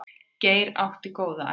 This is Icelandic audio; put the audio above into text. Geir átti góða ævi.